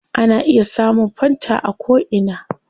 Ana iya samun fanta a ko ina